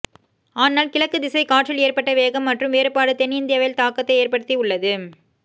ஆனால் கிழக்கு திசை காற்றில் ஏற்பட்ட வேகம் மற்றும் வேறுபாடு தென் இந்தியாவில் தாக்கத்தை ஏற்படுத்தி உள்ளது